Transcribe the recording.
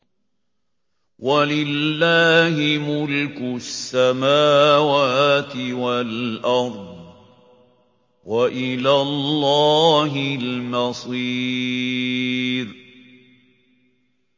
وَلِلَّهِ مُلْكُ السَّمَاوَاتِ وَالْأَرْضِ ۖ وَإِلَى اللَّهِ الْمَصِيرُ